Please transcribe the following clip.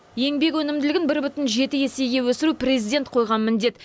еңбек өнімділігін бір бүтін жеті есеге өсіру президент қойған міндет